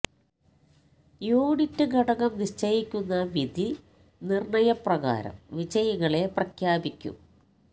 unit ഘടകം നിശ്ചയിക്കുന്ന വിധി നിർണ്ണയ പ്രകാരം വിജയികളെ പ്രഖ്യാപിക്കും